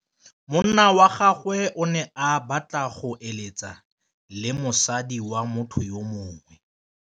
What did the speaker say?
Monna wa gagwe o ne a batla go êlêtsa le mosadi wa motho yo mongwe.